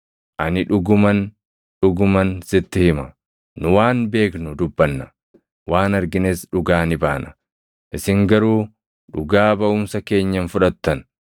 Ani dhuguman, dhuguman sitti hima; nu waan beeknu dubbanna; waan argines dhugaa ni baana; isin garuu dhugaa baʼumsa keenya hin fudhattan.